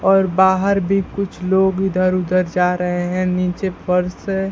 और बाहर भी कुछ लोग इधर उधर जा रहे हैं नीचे फर्श है।